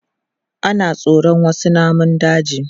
Ana tsoron wasu namun daji.